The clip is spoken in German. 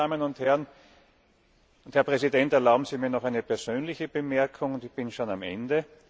Geschätzte Damen und Herren, Herr Präsident, erlauben Sie mir noch eine persönliche Bemerkung, und ich bin schon am Ende.